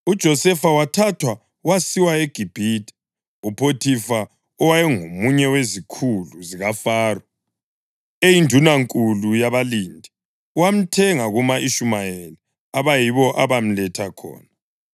UJosefa wathathwa wasiwa eGibhithe. UPhothifa, owayengomunye wezikhulu zikaFaro, eyindunankulu yabalindi, wamthenga kuma-Ishumayeli abayibo abamletha khona.